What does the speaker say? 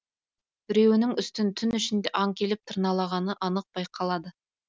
біреуінің үстін түн ішінде аң келіп тырналағаны анық байқалады